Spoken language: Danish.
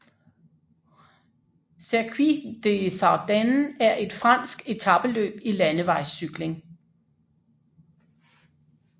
Circuit des Ardennes er et fransk etapeløb i landevejscykling